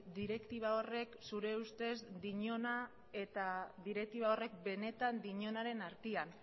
direktiba horrek zure ustez dinona eta direktiba horrek benetan dinonaren artean